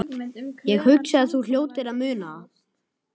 Ég hugsa að þú hljótir að muna það.